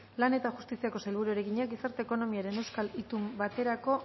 lan eta justiziako sailburuari egina gizarte ekonomiaren euskal itun baterako